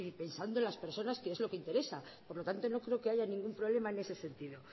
pensando en las personas que es lo que interesa por lo tanto no creo que haya ningún problema en ese sentido